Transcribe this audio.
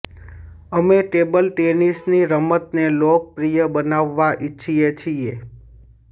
અમે ટેબલ ટેનિસની રમતને લોકપ્રિય બનાવવા ઈચ્છીએ છીએ